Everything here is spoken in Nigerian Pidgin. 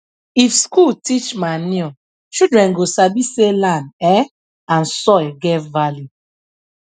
if school teach manure children go sabi say land um and soil get value